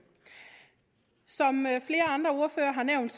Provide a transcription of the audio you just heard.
som flere andre ordførere har nævnt